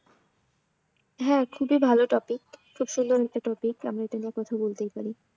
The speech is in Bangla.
হ্যাঁ খুবই ভাল topic খুব সুন্দর একটা topic আমি এটা নিয়ে কথা বলতেই পারি।